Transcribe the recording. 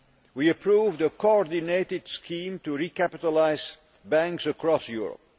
We approved a coordinated scheme to recapitalise banks across Europe.